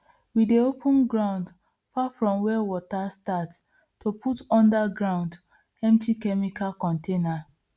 we dey open ground far from where water start to put under ground empty chemical container